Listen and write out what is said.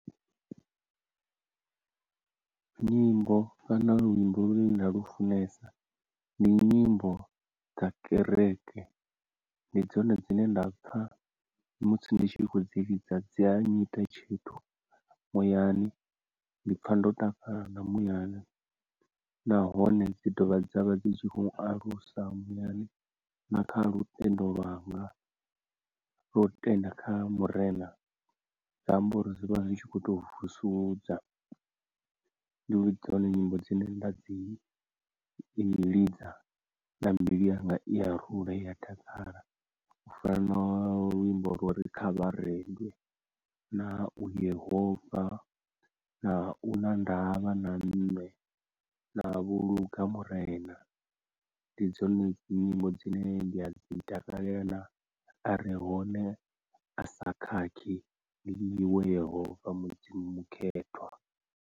Nyimbo kana luimbo lune nda lufunesa ndi nyimbo dza kereke, ndi dzone dzine nda pfa musi ndi tshi khou dzi lidza dzi a nnyita tshithu muyani, ndi pfa ndo takala na muyani nahone dzi dovha dzavha dzi kho alusa muyani na kha lutendo lwanga lwo tenda kha Murena, zwa amba uri zwi vha zwi tshi kho to vusuludza, ndi dzone nyimbo dzine nda dzi i ḽidza na mbilu yanga i ya rula i ya takala u fana na luimbo lwa uri kha vharendwe, na u yehova, na u na ndavha na nṋe, na vho lunga murena ndi dzone nyimbo dzine nda dzi takalela na arehone a sa khakhi ndi iwe yehova mudzimu mukhethwa.